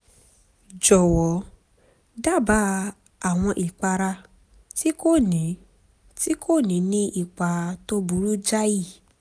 jọ̀wọ́ dábàá àwọn ìpara tí kò ní kò ní ní ipa tó burú jáì